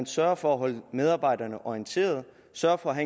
sørge for at holde medarbejderne orienteret sørge for at